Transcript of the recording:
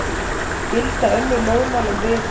Gilda önnur lögmál um viðhald